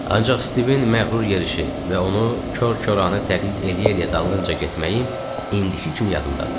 Ancaq Stivin məğrur yerişi və onu kor-koranə təqlid eləyə-eləyə dalınca getməyim indiki kimi yadımdadır.